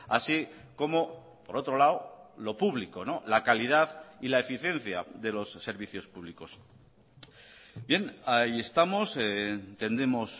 así como por otro lado lo público la calidad y la eficiencia de los servicios públicos bien ahí estamos entendemos